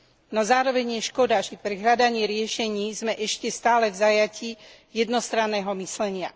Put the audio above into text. No zároveň je škoda, že pri hľadaní riešení sme ešte stále v zajatí jednostranného myslenia.